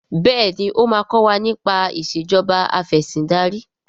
béèni o ma kò wá nipa Ìṣèjọba Afẹ̀sìndarí.